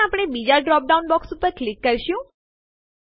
પછી આપણે બીજાં ડ્રોપ ડાઉન બોક્સ ઉપર ક્લિક કરીશું